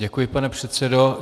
Děkuji, pane předsedo.